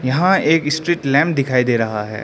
यहां एक street lamp दिखाई दे रहा है।